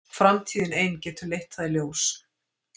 Framtíðin ein getur leitt það í ljós.